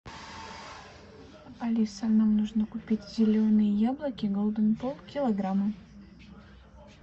алиса нам нужно купить зеленые яблоки голден полкилограмма